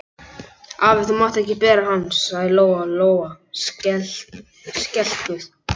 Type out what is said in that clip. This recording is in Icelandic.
Afi, þú mátt ekki bera hann, sagði Lóa Lóa skelkuð.